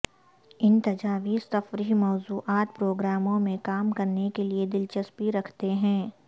ان تجاویز تفریح موضوعات پروگراموں میں کام کرنے کے لئے دلچسپی رکھتے ہیں